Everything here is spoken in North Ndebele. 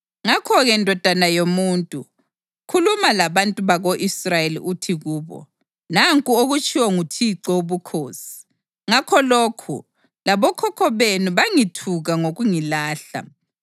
Ngakho-ke, ndodana yomuntu, khuluma labantu bako-Israyeli uthi kubo, ‘Nanku okutshiwo nguThixo Wobukhosi: Ngakho lokhu, labokhokho benu bangithuka ngokungilahla.